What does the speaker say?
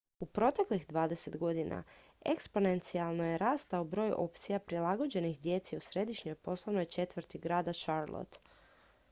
u proteklih 20 godina eksponencijalno je rastao broj opcija prilagođenih djeci u središnjoj poslovnoj četvrti grada charlotte